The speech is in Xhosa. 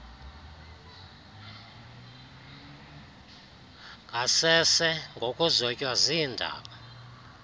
ngasese ngokuzotywa ziindaba